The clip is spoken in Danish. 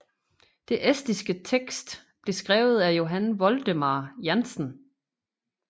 Den estiske tekst blev skrevet af Johann Voldemar Jannsen